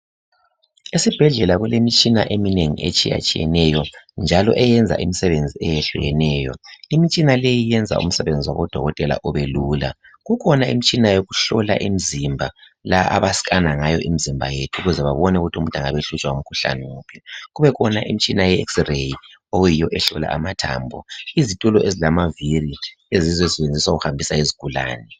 Esibhedlela kulemitshina eminengi etshiyatshiyeneyo njalo eyenza imisebenzi eyehlukeneyo. Imtshina leyi yenza imisebenzi wabo dokotela ubelula. Kukhona imtshina yokuhlola imzimba la abascaner ngayo omzimba yethu ukuze babone ukuthi angabehlutshwa ngumkhuhlane wuphi kubekhona imtshina ye x ray eyiyo ehlola amathambo izitulo ezilamaviri eziyizo ezisetshenziswa ukuhlola izigulani.